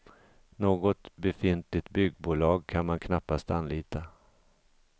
Något befintligt byggbolag kan man knappast anlita.